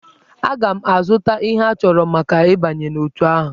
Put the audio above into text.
Aga m azụta ihe achọrọ maka ịbanye n'otù ahụ.